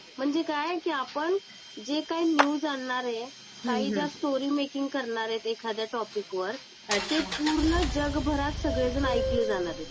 म्हणजे काय की आपण जे काय न्यूज आणणार आहे. काही ज्या स्टोरी मेकिंग करणारे आहेत एखाद्या टॉपिक वर, ते पूर्ण जगभरात सगळे जण ऐकले जाणार आहेत.